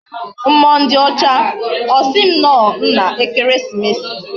Mmuo ndi ocha, osim no nna ekeresimesi